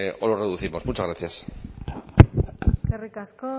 o los reducimos muchas gracias eskerrik asko